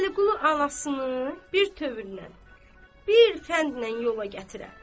Vəliqulu anasını bir tövrnən, bir fəndlə yola gətirə.